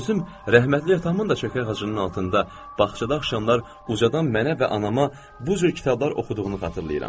Mən özüm rəhmətli atamın da çökə ağacının altında bağçada axşamlar ucadan mənə və anama bu cür kitablar oxuduğunu xatırlayıram.